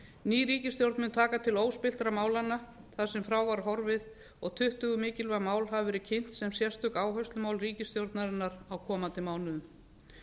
ný ríkisstjórn mun taka til óspilltra málanna þar sem frá var horfið og tuttugu mikilvæg mál hafa verið kynnt sem sérstök áherslumál ríkisstjórnarinnar á komandi mánuðum